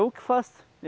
Eu que faço.